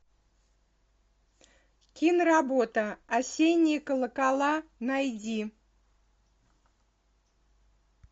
киноработа осенние колокола найди